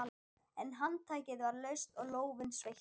En handtakið var laust og lófinn sveittur.